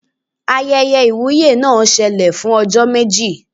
Ayẹyẹ ìwúyè náà ṣẹlẹ̀ fún ọjọ́ méjì